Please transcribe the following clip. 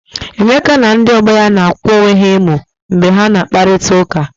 Emeka na ndi ọgbọ ya narị akwa onwe ha emu mgbe ha na akpa, kụrịta ụka.